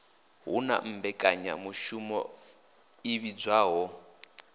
hu na mmbekanyamushumo i vhidzwaho